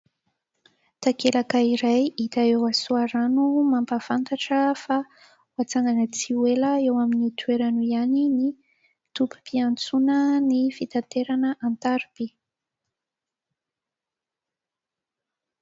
Takelaka iray hita eo Soarano mampafantatra fa atsangana tsy ho ela eo amin'io toerana io ihany ny tobim-piantsonana ny fitaterana an-tariby.